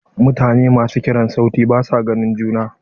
Mutane masu kiran sauti basu ganin juna.